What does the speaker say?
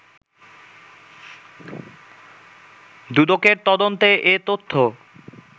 দুদকের তদন্তে এ তথ্য